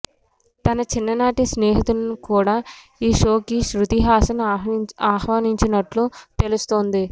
తన చిన్ననాటి స్నేహితులను కూడా ఈ షోకి శృతి హాసన్ ఆహ్వానించినట్లు తెలుస్తోంది